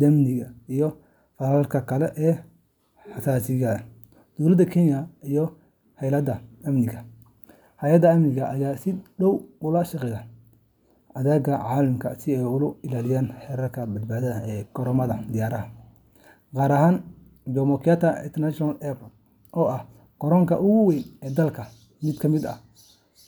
dambiyada, iyo falalka kale ee xasaasiga ah. Dowladda Kenya iyo hay’adaha amniga ayaa si dhow ula shaqeeya hay’adaha caalamiga ah si loo ilaaliyo heerarka badbaado ee garoomada diyaaradaha, gaar ahaan Jomo Kenyatta International Airport JKIA oo ah garoonka ugu weyn ee dalka. Mid ka mid ah